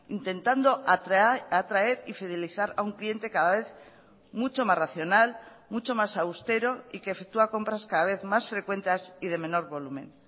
intentando atraer y fidelizar a un cliente cada vez mucho más racional mucho más austero y que efectúa compras cada vez más frecuentes y de menor volumen